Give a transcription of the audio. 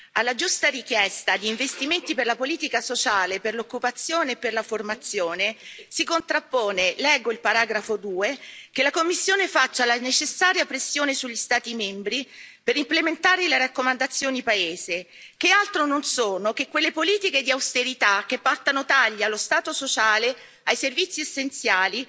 Alla giusta richiesta di investimenti per la politica sociale, per l'occupazione e per la formazione si contrappone leggo il paragrafo 2 che la Commissione faccia la necessaria pressione sugli Stati membri per implementare le raccomandazioni paese, che altro non sono che quelle politiche di austerità che portano tagli allo stato sociale, ai servizi essenziali,